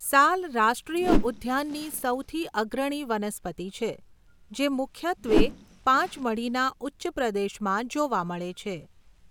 સાલ રાષ્ટ્રીય ઉદ્યાનની સૌથી અગ્રણી વનસ્પતિ છે જે મુખ્યત્વે પાચમઢીના ઉચ્ચપ્રદેશમાં જોવા મળે છે.